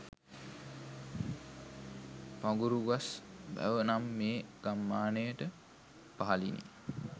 පඟුරුගස් වැව නම් මේ ගම්මානයට පහළිනි.